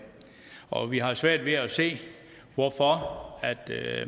og vi har svært ved at se hvorfor